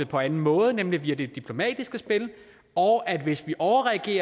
på anden måde nemlig via det diplomatiske spil og at hvis vi overreagerer